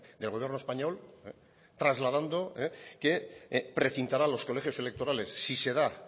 del gobierno español trasladando que precintará los colegios electorales si se da